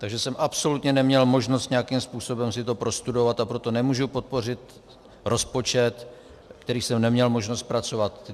Takže jsem absolutně neměl možnost nějakým způsobem si to prostudovat, a proto nemůžu podpořit rozpočet, který jsem neměl možnost zpracovat.